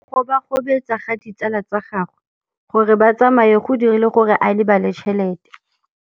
Go gobagobetsa ga ditsala tsa gagwe, gore ba tsamaye go dirile gore a lebale tšhelete.